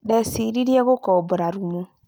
Ndeciririe gũkobora rumu